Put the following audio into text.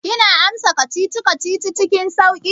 Kina amsa kacici-kacici cikin sauƙi?